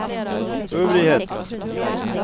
øvrigheten